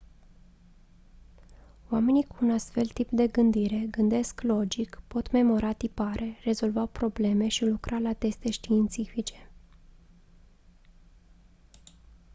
oamenii cu un astfel de tip de gândire gândesc logic pot memora tipare rezolva probleme și lucra la teste științifice